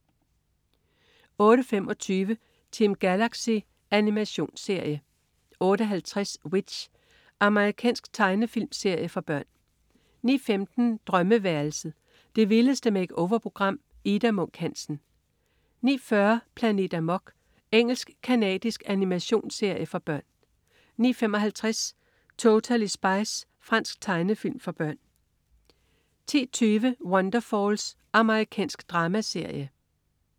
08.25 Team Galaxy. Animationsserie 08.50 W.i.t.c.h. Amerikansk tegnefilmserie for børn 09.15 Drømmeværelset. Det vildeste make-over-program. Ida Munk Hansen 09.40 Planet Amok. Engelsk-canadisk animationsserie for børn 09.55 Totally Spies. Fransk tegnefilm for børn 10.20 Wonderfalls. Amerikansk dramaserie